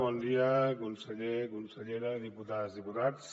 bon dia conseller consellera diputades diputats